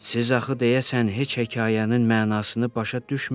Siz axı deyəsən heç hekayənin mənasını başa düşmədiz.